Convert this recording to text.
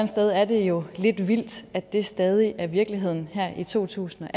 sted er det jo lidt vildt at det stadig er virkeligheden her i to tusind